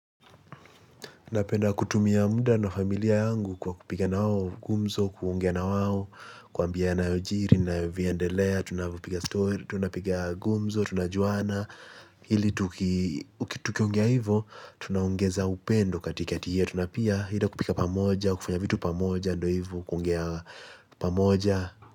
Tunapenda kutumia muda na familia yangu kwa kupiga nao gumzo, kuongea na wawo, kuwaambia yanayo jiri na navyo endelea. Tunapiga gumzo, tunajuana. Ili tukiongea hivyo, tunaongeza upendo katika yetu tuna pia hila kupika pamoja, kufanya vitu pamoja, ndo hivyo kuongea pamoja.